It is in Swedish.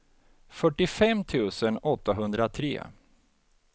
fyrtiofem tusen åttahundratre